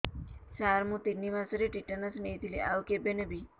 ସାର ମୁ ତିନି ମାସରେ ଟିଟାନସ ନେଇଥିଲି ଆଉ କେବେ ନେବି